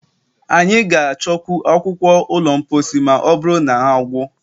Anyị ga-achọkwu akwukwor ụlọ mposi ma ọ bụrụ na na gwụ.